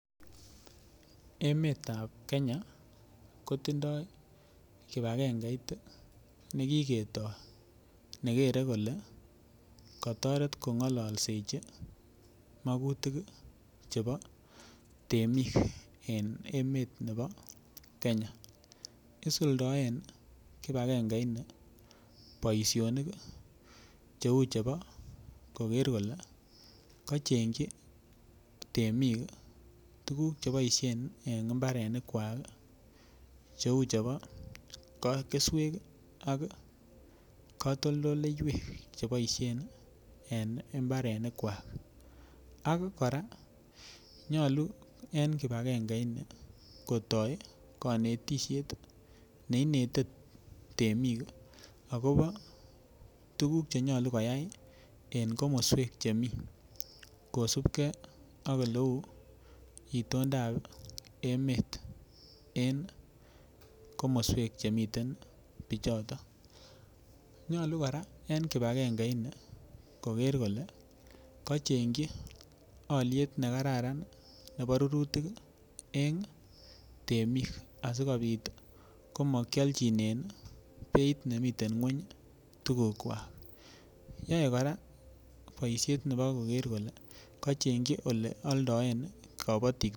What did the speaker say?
Emetab Kenya kotindoi kibagengeit ii ne kiketoi, ne kere kole katoret kongololsechi makutik ii chebo temik en emet nebo Kenya, isuldoen kibagengeini boisionik ii cheu chebo koker kole kachengchi temik ii tukuk che boisien en imbarenikwak cheu chebo keswek ii ak katoldoleiwek cheboisien ii en imbarenikwak, ak kora nyalu en kibagengeini kotoi kanetisiet ne inete temik ii, akobo tukuk che nyalu koyai en komoswek chemi kosupkei ak ole uu itondab emet en komoswek chemiten pichoto, nyalu kora en kibekengeini koker kole kachengchi alyet ne kararan ii nebo rurutik ii eng temik, asikobit ii komakiolchinen beit nemi nguny ii tukukwak, yoe kora boisiet nebo koker kole kachengchi ole aldoen ii kabatik....